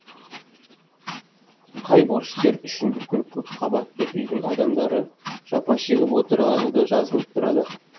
қай борышкер үшін бүкіл көпқабатты үйдің адамдары жапа шегіп отырғаны да жазылып тұрады